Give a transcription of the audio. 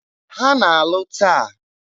Ha na-alụ taa.